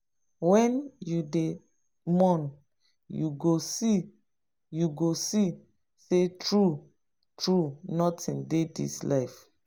when you dey mourn you go see you go see say true true nothing dey this life